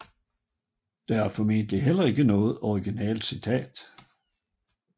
Det var formentlig heller ikke noget originalt citat